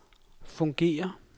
fungerer